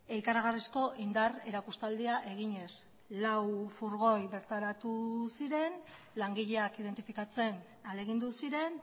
ikaragarrizko indar erakustaldia eginez lau furgoi bertaratu ziren langileak identifikatzen ahalegindu ziren